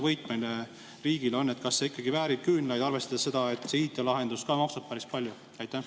Kui suur see riigi võit on, kas see ikkagi väärib küünlaid, arvestades, et see IT‑lahendus maksab ka päris palju?